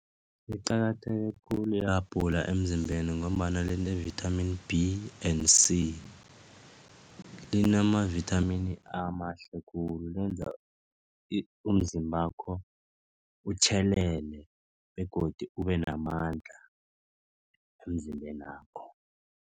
Liqakatheke khulu i-abhula emzimbeni ngombana line-vithamini B and C. Linama-vithamini amahle khulu lenza umzimbakho utjhelelele begodu ube namandla emzimbenakho.